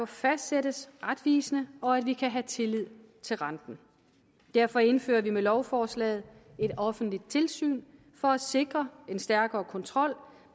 fastsættelsen af retvisende og at vi kan have tillid til renten derfor indfører vi med lovforslaget et offentligt tilsyn for at sikre en stærkere kontrol